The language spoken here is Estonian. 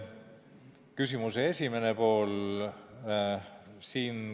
Küsimuse esimene pool.